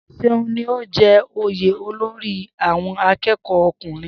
Seun ní o jẹ oyè olórí àwọn akẹ́kọ̀ọ́ ọkùnrin